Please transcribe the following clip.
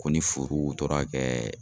Ko ni furuw tora kɛ